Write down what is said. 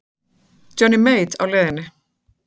Er Johnny Mate á leiðinni?